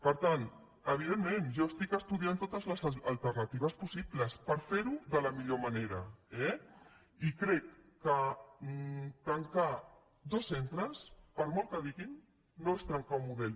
per tant evidentment jo estudio totes les alternatives possibles per fer ho de la millor manera eh i crec que tancar dos centres per molt que diguin no és trencar un model